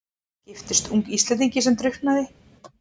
Giftist ung Íslendingi sem drukknaði.